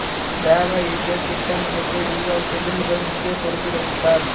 திரவ இயக்கத் திட்ட மையத்தை உருவாக்கியதில் இவர் முக்கியப் பொறுப்பு வகித்தார்